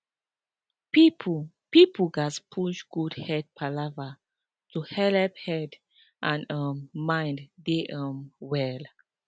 people people gatz push good head palava to helep head and um mind dey um well